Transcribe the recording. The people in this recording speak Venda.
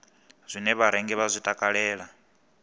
zwine vharengi vha zwi takalela